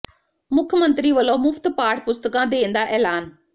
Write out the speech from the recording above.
ਮੁੱਖ ਮੰਤਰੀ ਵੱਲੋਂ ਮੁਫ਼ਤ ਪਾਠ ਪੁਸਤਕਾਂ ਦੇਣ ਦਾ ਐਲਾਨ